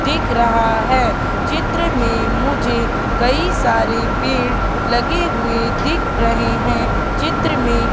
दिख रहा है चित्र में मुझे कई सारे पेड़ लगे हुए दिख रहे हैं चित्र में--